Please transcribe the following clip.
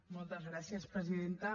moltes gràcies presidenta